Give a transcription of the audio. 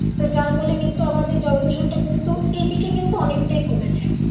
তো যার ফলে কিন্তু আমাদের জলদূষণ টা কিন্তু এইদিকে কিন্তু অনেকটাই কমেছে